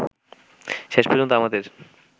শেষ পর্যন্ত আমাদের